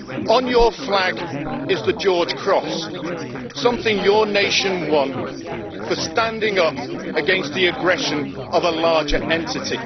On your flag is the George Cross, something your nation won for standing up against the aggression of a larger entity.